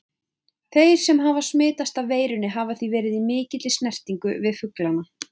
Þeir sem hafa smitast af veirunni hafa því verið í mikilli snertingu við fuglana.